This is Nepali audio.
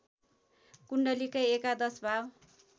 कुण्डलीकै एकादशभाव